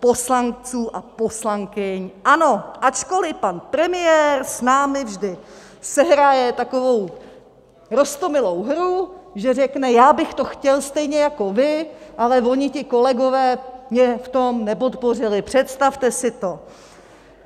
poslanců a poslankyň ANO, ačkoli pan premiér s námi vždy sehraje takovou roztomilou hru, že řekne, já bych to chtěl stejně jako vy, ale oni ti kolegové mě v tom nepodpořili, představte si to.